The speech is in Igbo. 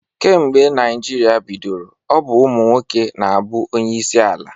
Kemgbe Naịjirịa bidoro, ọ bụ ụmụ nwoke na-abụ onyeisi ala.